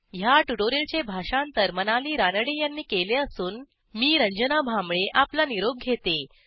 ह्या ट्युटोरियलचे भाषांतर मनाली रानडे यांनी केले असून मी रंजना भांबळे आपला निरोप घेते